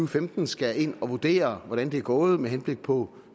femten skal ind at vurdere hvordan det er gået med henblik på